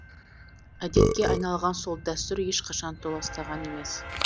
әдетке айналған сол дәстүр ешқашан толастаған емес